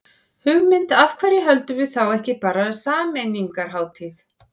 Hugmynd, af hverju höldum við þá ekki bara sameiningarhátíð.